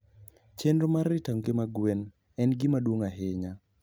Chenro mar rito ngima gweno en gima duong' ahinya.